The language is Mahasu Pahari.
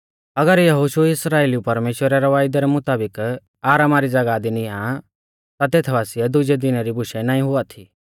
अगर यहोशु इस्राइलिऊ परमेश्‍वरा रै वायदै रै मुताबिक आरामा री ज़ागाह दी निआं ता तेथ बासिऐ दुजै दिनै री बुशै नाईं हुआ थी